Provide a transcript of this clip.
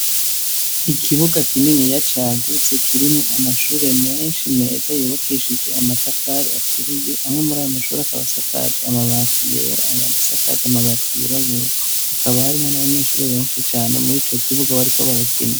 Ikibuga kinini ya cagutse kirimo amashure menshi meza yobakeshije amatafari aturiye amwo muri ayo amashuri akabasakaje amabati yera ayangasakaje amabati yerabura akabarimwo n'abanyeshure benshi cane muri co kibuga bariko barakina.